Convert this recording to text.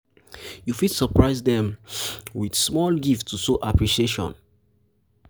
you fit surprise them with surprise them with small gift to show appreciation